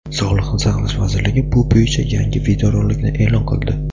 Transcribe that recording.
Sog‘liqni saqlash vazirligi bu bo‘yicha yangi videorolikni e’lon qildi.